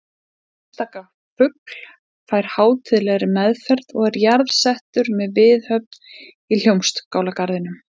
Einstaka fugl fær hátíðlegri meðferð og er jarðsettur með viðhöfn í Hljómskálagarðinum!